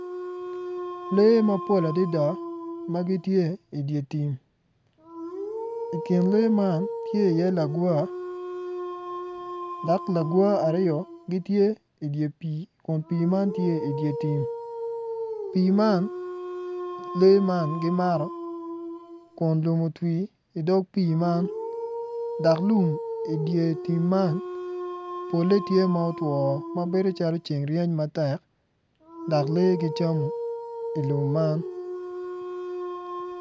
Lee ma gipol adada ma gitye i dye tim. I kin lee man tye iye lagwar dok lagwar aryo gitye i dye pii kun pii man tye i dye tim pii man lee man gimato kun lum otwi i dog pii man dok lum i dye pii man pole tye ma otwo ma beco calo ceng reny matek dok lee gicamo i lum man.